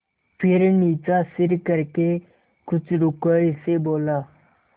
फिर नीचा सिर करके कुछ रूखाई से बोला